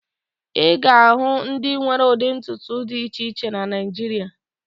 Ị ga-ahụ ndị nwere ụdị ntutu dị iche iche na Naịjirịa